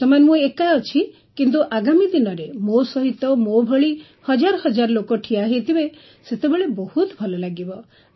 ବର୍ତ୍ତମାନ ମୁଁ ଏକା ଅଛି କିନ୍ତୁ ଆଗାମୀ ଦିନରେ ମୋ ସହିତ ମୋ ଭଳି ହଜାର ହଜାର ଲୋକ ଠିଆ ହୋଇଥିବେ ସେତେବେଳେ ବହୁତ ଭଲ ଲାଗିବ